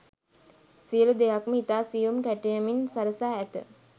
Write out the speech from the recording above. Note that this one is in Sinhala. සියලු දෙයක්ම ඉතා සියුම් කැටයමින් සරසා ඇත.